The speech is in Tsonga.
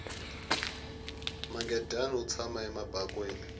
mangadyani wu tshama ebakweni